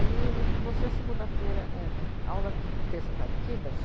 livre você, segunda-feira é, a aula tinha, terça, quarta e quinta.